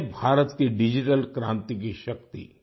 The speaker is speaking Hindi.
ये है भारत की डिजिटल क्रान्ति की शक्ति